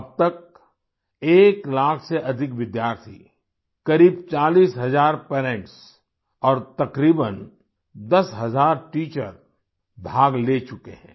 अब तक एक लाख से अधिक विद्यार्थी करीब 40 हजार पेरेंट्स और तकरीबन 10 हजार टीचर भाग ले चुके हैं